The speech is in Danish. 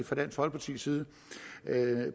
fra dansk folkepartis side